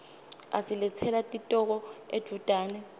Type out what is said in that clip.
asiletsela titoko edvutane